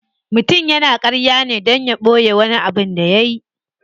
Mutum yana karya ne dan ya boye wani abin da yayi.